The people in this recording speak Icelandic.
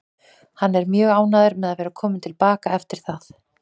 Hann er mjög ánægður með að vera kominn til baka eftir það.